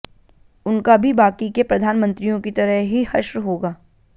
उनका भी बाकी के प्रधानमंत्रियों की तरह ही हश्र होगा